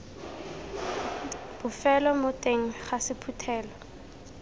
bofelo mo teng ga sephuthelo